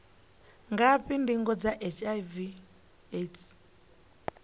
ngafhi ndingo dza hiv aids